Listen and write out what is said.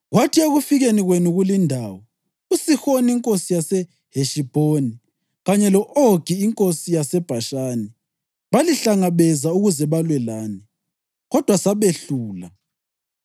Kwathi ekufikeni kwenu kulindawo, uSihoni inkosi yaseHeshibhoni kanye lo-Ogi inkosi yaseBhashani balihlangabeza ukuze balwe lani, kodwa sabehlula.